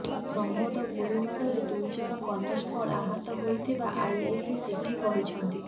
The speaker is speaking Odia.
ପ୍ରମୋଦ ଗୁଳି ମାଡ଼ରେ ଦୁଇଜଣ କନେଷ୍ଟବଳ ଆହତ ହୋଇଥିବା ଆଇଆଇସି ସେଠୀ କହିଛନ୍ତି